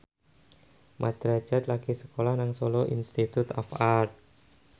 Mat Drajat lagi sekolah nang Solo Institute of Art